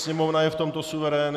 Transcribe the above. Sněmovna je v tomto suverén.